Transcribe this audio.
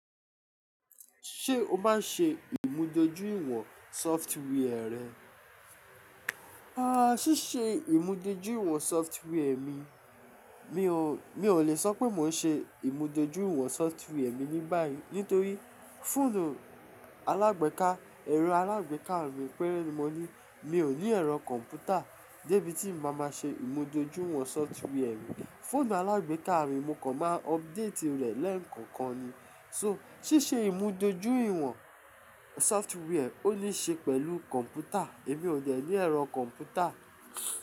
Ṣé o bá ṣe ìmúdójúìwọ̀n software rẹ? Aaa, ṣíṣe ìmúdójúìwọ̀n software mi, mi ò, mi ò lè sọ pé mò ń ṣe ìmúdójúìwọ̀n software mi ní báyìí nítorí fóònù alágbèéká, ẹ̀rọ alágbèéká mi péré mọ́ ní, mi ò ní ẹ̀rọ kọ̀m̀pútà dé bití mo máa máa ṣe ìmúdójúìwọ̀n software mi. Fóònù alágbèéká mi mo kàn máa update rẹ̀ lẹ́ẹ̀kan kan ni. So ṣíṣe ìmúdójúìwọ̀n software ó ní ṣe pẹ̀lú kọ̀m̀pútà, èmi ò dẹ̀ ní ẹ̀rọ kọ̀m̀pútà.